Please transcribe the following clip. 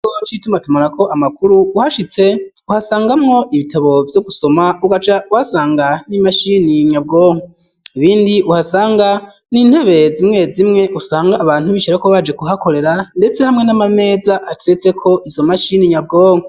Ncitumatumarako amakuru uhashitse uhasangamwo ibitabo vyo gusoma ugaca wasanga n'imashini nyabwonko ibindi uhasanga n'intobe zimwe zimwe usanga abantu bishirako baje kuhakorera, ndetse hamwe n'amameza aturetseko izo mashini nyabwonko.